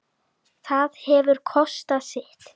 Það hefur kostað sitt.